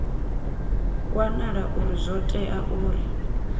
wanala uri zwo tea uri